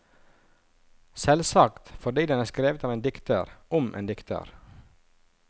Selvsagt fordi den er skrevet av en dikter om en dikter.